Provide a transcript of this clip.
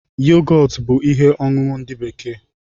Yogọtu bú ihe ọṅụṅụ ndị bekee